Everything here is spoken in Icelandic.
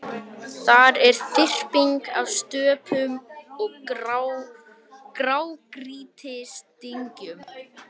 Þar er þyrping af stöpum og grágrýtisdyngjum.